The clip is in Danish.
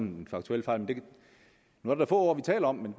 en faktuel fejl nu er det få år vi taler om men